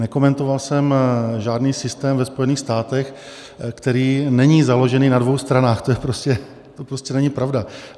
Nekomentoval jsem žádný systém ve Spojených státech, který není založený na dvou stranách, to prostě není pravda.